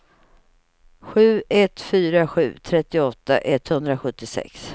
sju ett fyra sju trettioåtta etthundrasjuttiosex